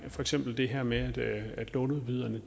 for eksempel det her med at låneudbyderne